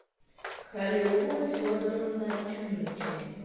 халиулла федоровна чумичева